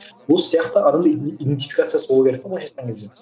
осы сияқты адамда идентификациясы болу керек те былайша айтқан кезде